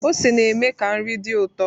Ose na-eme ka nri dị ụtọ